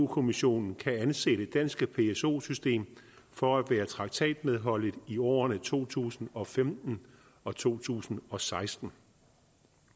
kommissionen kan anse det danske pso system for at være traktatmedholdeligt i årene to tusind og femten og to tusind og seksten